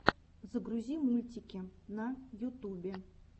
загрузи мультики на ютубе